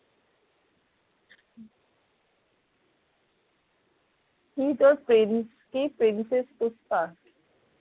এই তোর প্রেমিক প্রেমিকের